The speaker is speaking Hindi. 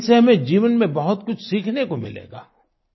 इनसे हमें जीवन में बहुत कुछ सीखने को मिलेगा